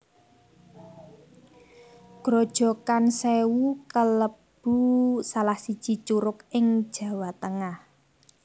Grojogan Sèwu kalebu salah siji curug ing Jawa Tengah